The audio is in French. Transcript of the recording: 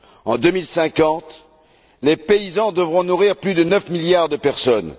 En 2050, les paysans devront nourrir plus de 9 milliards de personnes.